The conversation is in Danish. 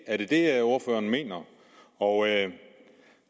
er det det ordføreren mener og